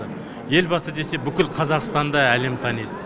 елбасы десе бүкіл қазақстанды әлем таниды